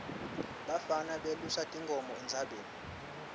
bafana belusa tinkhomo entsabeni